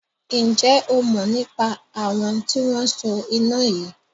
Ǹjẹ́ o mọ̀ nípa àwọn tí wọn so iná yìí?